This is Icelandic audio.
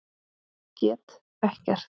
Get ekkert.